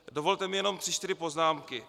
Dovolte mi jenom tři čtyři poznámky.